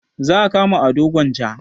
Za a kama ado gwanja?